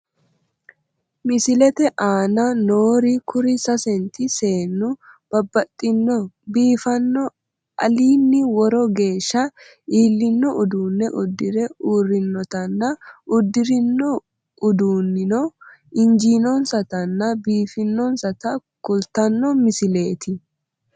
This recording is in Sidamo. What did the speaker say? Misilete aana noori kuri sasenti seennu babbaxino biifanno alinni woro geeshsha iillino uduunne uddire urrinotanna uddirinouduunnino injiinonsatanna biifinonsata kultanno misileeti.